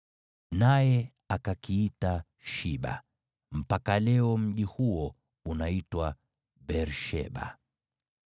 Naye akakiita Shiba, mpaka leo mji huo unaitwa Beer-Sheba.